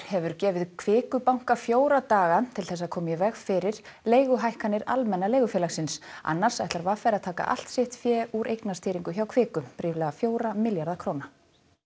hefur gefið Kviku banka fjóra daga til þess að koma í veg fyrir leiguhækkanir Almenna leigufélagsins annars ætlar v r að taka allt sitt fé úr eignastýringu hjá Kviku ríflega fjóra milljarða króna